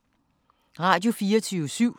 Radio24syv